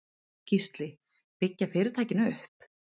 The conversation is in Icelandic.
Gísli: Byggja fyrirtækin upp?